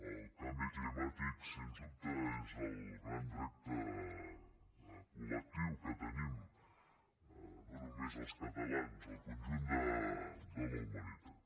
el canvi climàtic sense dubte és el gran repte col·lectiu que tenim no només els catalans el conjunt de la humanitat